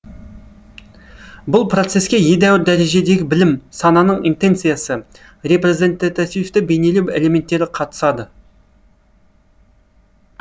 бұл процеске едәуір дәрежедегі білім сананың интенциясы репрезентативті бейнелеу элементтері қатысады